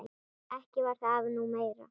Ekki var það nú meira.